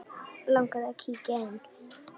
Langar þig að kíkja inn?